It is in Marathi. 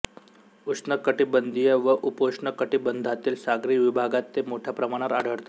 उष्णकटिबंधीय व उपोष्ण कटिबंधातील सागरी विभागात ते मोठ्या प्रमाणावर आढळतात